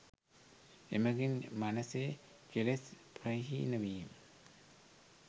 එමඟින් මනැසේ කෙලෙස් ප්‍රහීන වීම